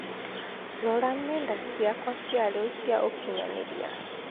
rora nenda cĩakwa cĩa rĩu cĩa ũkinyanĩria